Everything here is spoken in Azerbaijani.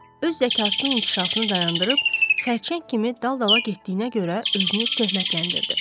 Öz zəkasının inkişafını dayandırıb xərçəng kimi dalbadala getdiyinə görə özünü töhmətləndirdi.